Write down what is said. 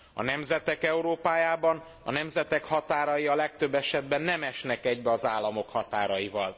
A nemzetek Európájában a nemzetek határai a legtöbb esetben nem esnek egybe az államok határaival.